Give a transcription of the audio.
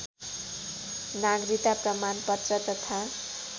नागरिकता प्रमाणपत्र तथा